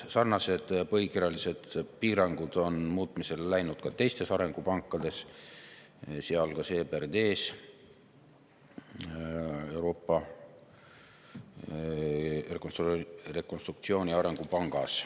Sarnased põhikirjalised piirangud on muutmisele läinud ka teistes arengupankades, sealhulgas EBRD-s, Euroopa Rekonstruktsiooni‑ ja Arengupangas.